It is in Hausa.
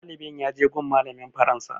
Ɗalibin ya je gun malamin faransa